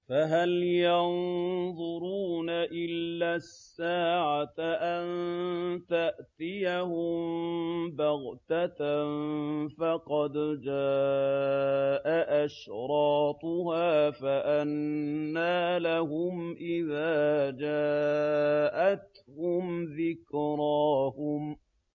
فَهَلْ يَنظُرُونَ إِلَّا السَّاعَةَ أَن تَأْتِيَهُم بَغْتَةً ۖ فَقَدْ جَاءَ أَشْرَاطُهَا ۚ فَأَنَّىٰ لَهُمْ إِذَا جَاءَتْهُمْ ذِكْرَاهُمْ